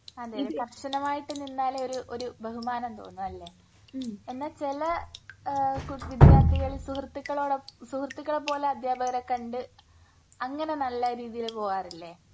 അതെയതെ കർശനമായിട്ടു നിന്നാലേ ഒരു ഒരു ബഹുമാനം തോന്നൂ അല്ലേ? എന്നാ ചില ആഹ് കു വിദ്യാർഥികൾ സുഹൃത്തുക്കളോടൊ സുഹൃത്തുക്കളെ പോലെ അധ്യാപകരെ കണ്ട് അങ്ങനെ നല്ല രീതിയിൽ പോവാറില്ലേ?